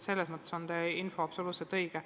Selles mõttes on teie info absoluutselt õige.